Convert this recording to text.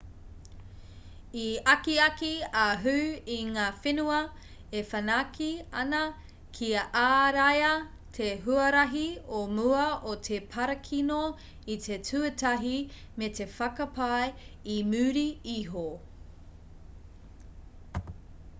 i akiaki a hu i ngā whenua e whanake ana kia āraia te huarahi o mua o te parakino i te tuatahi me te whakapai i muri iho .